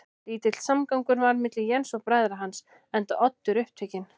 Lítill samgangur var milli Jens og bræðra hans, enda Oddur upptekinn